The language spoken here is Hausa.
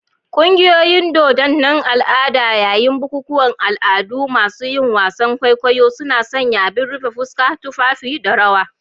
Ƙungiyoyin dodunan al' ada, yayin bukukuwan al'adu, masu yin wasan kwaikwayo suna sanya abin rufe fuska, tufafi, da rawa.